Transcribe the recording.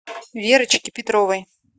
верочке петровой